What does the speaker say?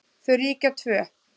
Þau ríkja tvö.